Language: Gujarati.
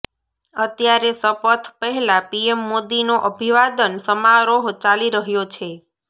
અત્યારે શપથ પહેલાં પીએમ મોદીનો અભિવાદન સમારોહ ચાલી રહ્યો છે